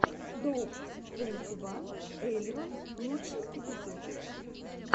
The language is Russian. доуп твенти ван элеван лучший эпизод